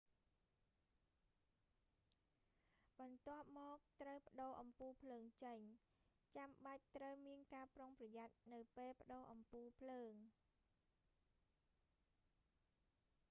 បន្ទាប់មក ត្រូវប្ដូរអំពូលភ្លើងចេញ ចាំបាច់ត្រូវមានការប្រុងប្រយ័ត្ននៅពេលប្ដូរអំពូលភ្លើង